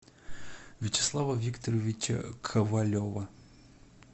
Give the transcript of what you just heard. вячеслава викторовича ковалева